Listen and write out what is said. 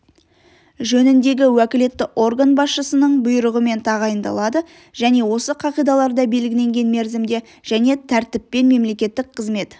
жөніндегі уәкілетті орган басшысының бұйрығымен тағайындалады және осы қағидаларда белгіленген мерзімде және тәртіппен мемлекеттік қызмет